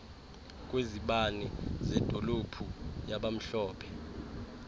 kwezibane zedolophu yabamhlophe